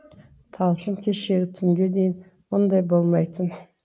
талшын кешегі түнге дейін мұндай болмайтын